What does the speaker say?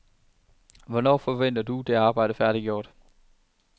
Hvornår forventer du det arbejde færdiggjort?